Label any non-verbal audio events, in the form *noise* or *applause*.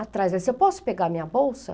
Atrás *unintelligible* eu posso pegar minha bolsa?